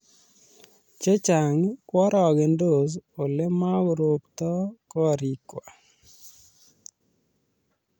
Che chang' koarogendos ole makorobto koriikwa